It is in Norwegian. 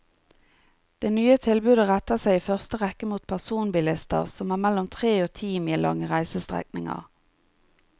Det nye tilbudet retter seg i første rekke mot personbilister som har mellom tre og ti mil lange reisestrekninger.